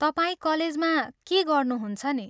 तपाईं कलेजमा के गर्नुहुन्छ नि?